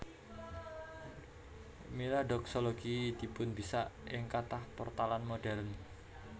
Mila doksologi dipunbisak ing kathah pertalan modèrn